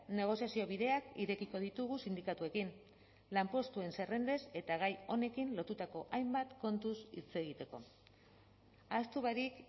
negoziazio bideak irekiko ditugu sindikatuekin lanpostuen zerrendez eta gai honekin lotutako hainbat kontuz hitz egiteko ahaztu barik